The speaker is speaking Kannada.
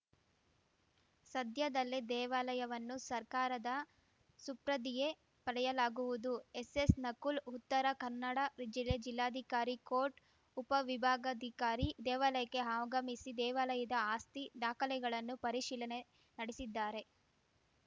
ಸದ್ಯದಲ್ಲೆ ದೇವಾಲಯವನ್ನು ಸರ್ಕಾರದ ಸುಪ್ರದ್ದಿಗೆ ಪಡೆಯಲಾಗುವುದು ಎಸ್‌ಎಸ್‌ನಕುಲ್‌ ಉತ್ತರ ಕನ್ನಡ ಜಿಲ್ಲೆ ಜಿಲ್ಲಾಧಿಕಾರಿ ಕೋಟ್‌ ಉಪ ವಿಭಾಗಾಧಿಕಾರಿ ದೇವಾಲಯಕ್ಕೆ ಆಗಮಿಸಿ ದೇವಾಲಯದ ಆಸ್ತಿ ದಾಖಲೆಗಳನ್ನು ಪರಿಶೀಲನೆ ನಡೆಸಿದ್ದಾರೆ